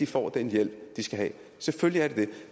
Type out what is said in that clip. får den hjælp de skal have selvfølgelig er det det